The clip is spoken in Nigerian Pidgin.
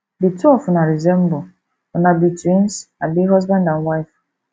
the two of una resemble una be twins abi husband and wife